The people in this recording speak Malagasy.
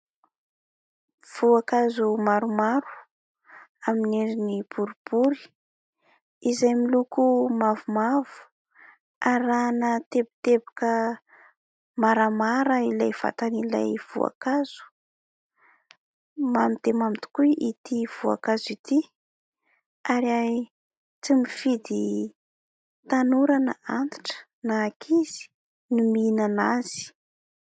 Voankazo maromaro amin'ny endrin'ny boribory izay miloko mavomavo, arahina teboteboka maramara ilay vatan'ilay voankazo. Mamy tena mamy tokoa ity voankazo ity ary tsy mifidy tanora na antitra na ankizy ny mihinana azy.